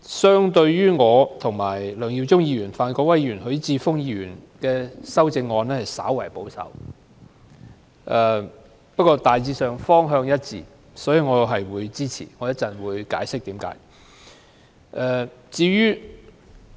相對於我、梁耀忠議員、范國威議員和許智峯議員提出的修正案，黃碧雲議員的修正案較為保守，但方向大致一致，所以我會予以支持，稍後我會解釋原因。